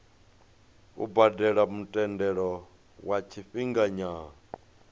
u badela muthelo wa tshifhinganyana